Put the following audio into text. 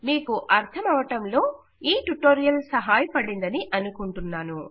మీకు అర్థమవడంలో ఈ ట్యుటోరియల్ సహాయపడిందని అనుకుంటాను